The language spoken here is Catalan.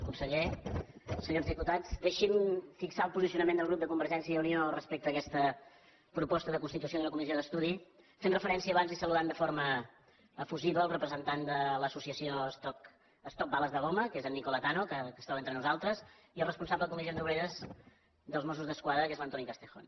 conseller senyors diputats deixin me fixar el posicionament del grup de convergència i unió respecte a aquesta proposta de constitució d’una comissió d’estudi fent referència abans i saludant de forma efusiva el representant de l’associació stop bales de goma que és en nicola tanno que es troba entre nosaltres i el responsable de comissions obreres dels mossos d’esquadra que és l’antoni castejón